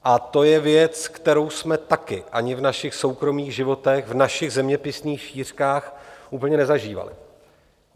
A to je věc, kterou jsme taky ani v našich soukromých životech v našich zeměpisných šířkách úplně nezažívali.